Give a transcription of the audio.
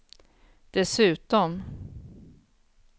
dessutom